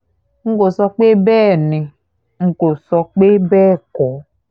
n kò sọ pé bẹ́ẹ̀ ni n kò sọ pé bẹ́ẹ̀ kọ́